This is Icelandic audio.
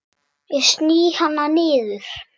Ég sný hana niður.